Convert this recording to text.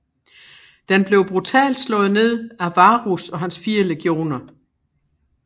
Den blev brutalt slået ned af Varus og hans fire legioner